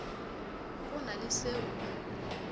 go na le se o